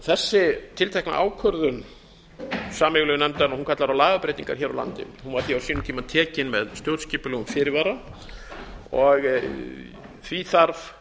þessi tiltekna ákvörðun sameiginlegu nefndarinnar kallar á lagabreytingar hér á landi hún var því á sínum tíma tekin með stjórnskipulegum fyrirvara og því þarf